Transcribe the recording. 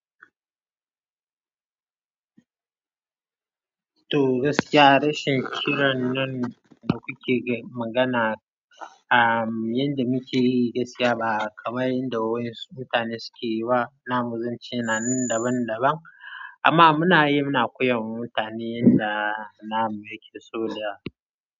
Toh gaskiya rashin ƙiran nan da kuke magana yanda muke yi gaskiya ba kamar yanda wasu mutane suke yi ba. Na mu sun ci nan daban-daban amma muna yi muna koyar wa mutane yanda namu yake so da.